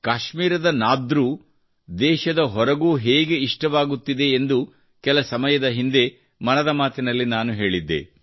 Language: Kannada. ಕಾಶ್ಮೀರದ ನಾದ್ರು ದೇಶದ ಹೊರಗೂ ಹೇಗೆ ಇಷ್ಟವಾಗುತ್ತಿದೆ ಎಂದು ಕೆಲ ಸಮಯದ ಹಿಂದೆ ಮನದ ಮಾತಿನಲ್ಲಿ ನಾನು ಹೇಳಿದ್ದೆ